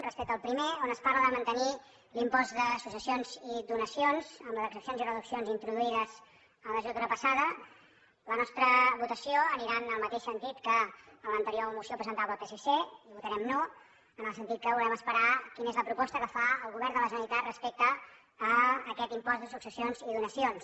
respecte al primer on es parla de mantenir l’impost de successions i donacions amb les excepcions i reduccions introduïdes en la legislatura passada la nostra votació anirà en el mateix sentit que en l’anterior moció presentava el psc i votarem no en el sentit que volem esperar quina és la proposta que fa el govern de la generalitat respecte a aquest impost de successions i donacions